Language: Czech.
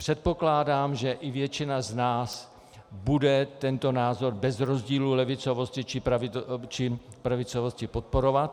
Předpokládám, že i většina z nás bude tento názor bez rozdílu levicovosti či pravicovosti podporovat.